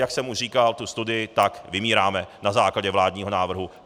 Jak jsem už říkal tu studii, tak vymíráme na základě vládního návrhu.